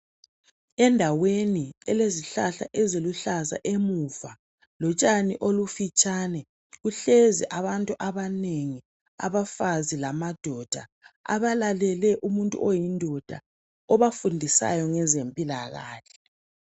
Endaweni elezihlahla, eziluhlaza emuva. Lotshani olufitshane. kuhlezi abantu abanengi. Abafazi lamadoda, abalalele umuntu oyindoda. Obafundisayo, ngezempilakahle.